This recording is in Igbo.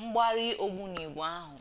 mgbari ogbunigwe ahụ